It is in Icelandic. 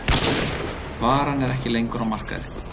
Varan er ekki lengur á markaði